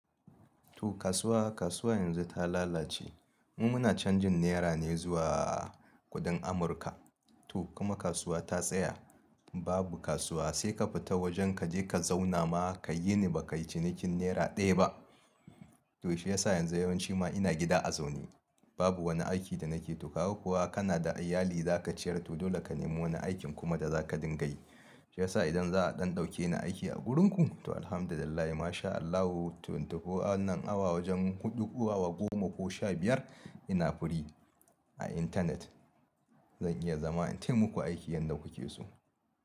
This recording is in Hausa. To kasuwa, kasuwa yanzu ta lalace. Mu muna canjin naira ne zuwa kuɗin Amurka. To kuma kasuwa ta tsaya. Babu kasuwa sai ka fita wajen ka je ka zauna ma ka yini ba ka yi cinikin nera ɗaya ba. To shi ya sa yanzu yawanci ma ina gida a zaune. Babu wani aiki da nake to kaga kuwa kana da iyali za ka ciyar. To dole ka nemo wani aikin kuma da za ka dinga yi. Shi ya sa idan za a ɗan ɗauke ni aiki a wurinku, to Alhamdulillah, Masha Allah, to tuko wannan awa wajen huɗu, awa goma ko sha biyar ina free a internet. Zan iya zama in ta muku aiki yadda kuke so.